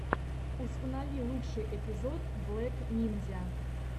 установи лучший эпизод блек нинзя